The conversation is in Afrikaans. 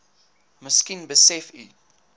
miskien besef u